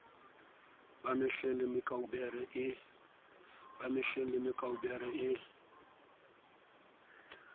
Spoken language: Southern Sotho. ba mehleng le mekaubere e